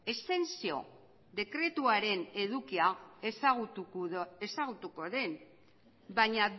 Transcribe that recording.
exentzio dekretuaren edukia ezagutuko duen baina